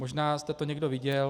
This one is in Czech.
Možná jste to někdo viděl.